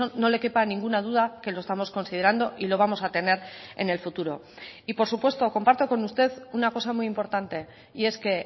no le quepa ninguna duda que lo estamos considerando y lo vamos a tener en el futuro y por supuesto comparto con usted una cosa muy importante y es que